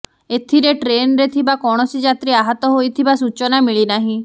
ଏଥିରେ ଟ୍ରେନ୍ରେ ଥିବା କୌଣସି ଯାତ୍ରୀ ଆହତ ହୋଇଥିବା ସୂଚନା ମିଳିନାହିଁ